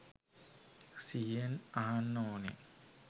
සිහියෙන් අහන්න ඕන.